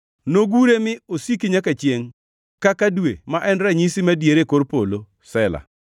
nogure mi osiki nyaka chiengʼ kaka dwe, ma en ranyisi madier e kor polo.” Sela